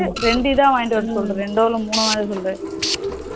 ரெண்டு இதா வாங்கிட்டு வர சொல்லு ரெண்டோ இல்ல மூனோ வாங்கிட்டு வர சொல்லு